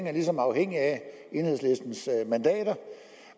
er ligesom afhængig af enhedslistens mandater